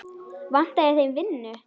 Vantaði þeim vinnu?